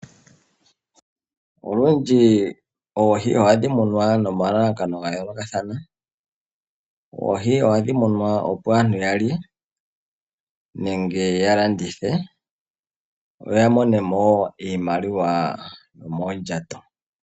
Olundji oohi ohadhi munwa nomalakano ga yoolokathana. Oohi ohadhi munwa opo aantu ya lye nenge ya landithe ya mone mo iimaliwa yomondjato.